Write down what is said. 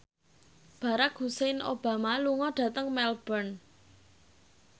Barack Hussein Obama lunga dhateng Melbourne